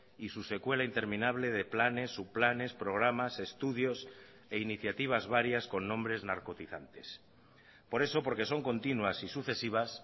y su secuela interminable de planes subplanes programas estudios e iniciativas varias con nombres narcotizantes por eso porque son continuas y sucesivas